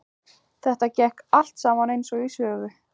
Þetta gekk allt saman eins og í sögu.